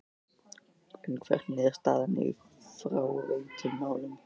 En hvernig er staðan í fráveitumálum?